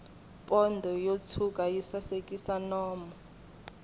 pondo yo tshwuka yi sasekisa nomu